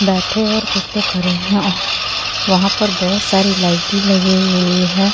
बैठे और कुछ लोग खड़े है और वहाँ पे बहुत सारी लाइटे लगी हुई है ।